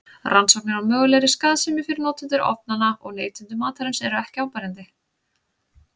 Rannsóknir á mögulegri skaðsemi fyrir notendur ofnanna og neytendur matarins eru ekki áberandi.